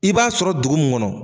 I b'a sɔrɔ dugu mun kɔnɔ